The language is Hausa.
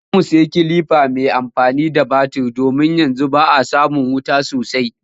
Za mu sayi kilifa mai amfani da batir domin yanzu ba a samin wuta sosai